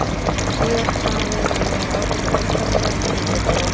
Síðast sagði hann við mig að ég væri ágætur myndhöggvari en kynni bara of mikið.